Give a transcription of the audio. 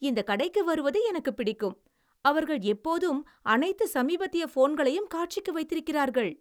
இந்தக் கடைக்கு வருவது எனக்குப் பிடிக்கும். அவர்கள் எப்போதும் அனைத்து சமீபத்திய போன்களையும் காட்சிக்கு வைத்திருக்கிறார்கள்.